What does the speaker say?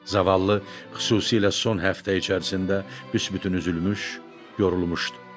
Zavallı xüsusilə son həftə içərisində büsbütün üzülmüş, yorulmuşdu.